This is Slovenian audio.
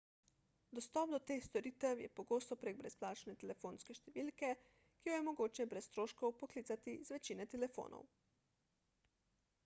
dostop do teh storitev je pogosto prek brezplačne telefonske številke ki jo je mogoče brez stroškov poklicati z večine telefonov